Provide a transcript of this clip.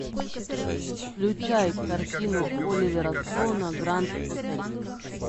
включай картину оливера стоуна гранд отель